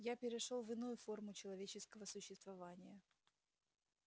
я перешёл в иную форму человеческого существования